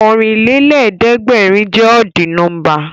Ọ̀rìnlélẹ̀ẹ̀dẹ́gbèrin jẹ́ ọ́dì nọ́mbà